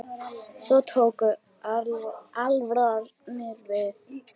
Svo tók alvaran við.